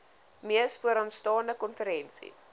mees vooraanstaande konferensie